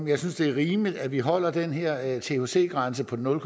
jeg synes det er rimeligt at vi holder den her thc grænse på nul